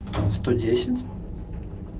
сто десять